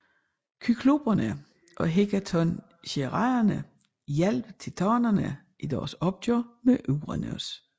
Kykloperne og hekatoncheirerne hjalp titanerne i deres opgør med Uranos